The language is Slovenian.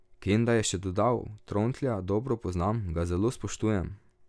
Kenda je še dodal: "Trontlja dobro poznam, ga zelo spoštujem.